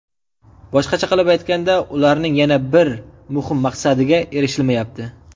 Boshqacha aytganda, ularning yana bir muhim maqsadiga erishilmayapti.